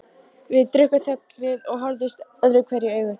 Við drukkum þöglir og horfðumst öðruhverju í augu.